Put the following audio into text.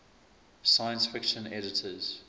science fiction editors